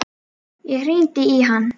Ég hringdi í hann.